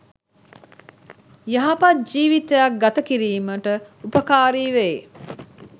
යහපත් ජීවිතයක් ගත කිරීමට උපකාරි වෙයි.